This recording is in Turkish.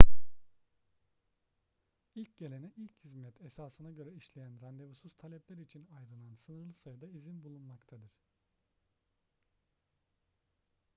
i̇lk gelene ilk hizmet esasına göre işleyen randevusuz talepler için ayrılan sınırlı sayıda izin bulunmaktadır